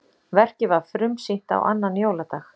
Verkið var frumsýnt á annan jóladag